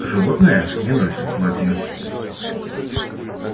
животные не носят платья